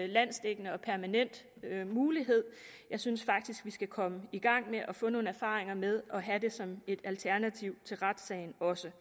landsdækkende og permanent mulighed jeg synes faktisk vi skal komme i gang med at få nogle erfaringer med at have det som et alternativ til retssagen også